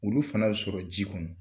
Olu fana bɛ sɔrɔ ji kɔnɔ.